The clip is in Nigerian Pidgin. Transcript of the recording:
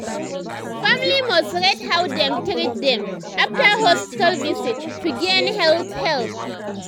family must rate how dem treat dem after hospital visit to gain health help.